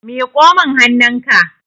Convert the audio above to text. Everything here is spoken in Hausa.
miƙo min hannunka!